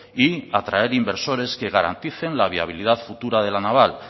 y atraer inversores que garanticen la viabilidad futura de la naval